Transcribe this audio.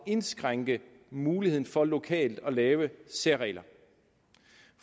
at indskrænke muligheden for lokalt at lave særregler